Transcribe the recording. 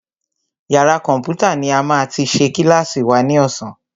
Yàrá kọ̀mpútà ní a máa ti ṣe kílàsì wa ní ọ̀sán.